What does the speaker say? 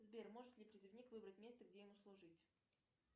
сбер может ли призывник выбрать место где ему служить